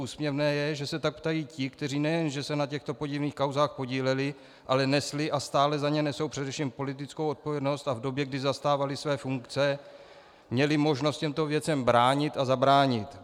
Úsměvné je, že se tak ptají ti, kteří nejenže se na těchto podivných kauzách podíleli, ale nesli a stále za ně nesou především politickou odpovědnost a v době, kdy zastávali své funkce, měli možnost těmto věcem bránit a zabránit.